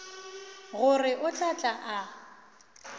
gore o tla tla a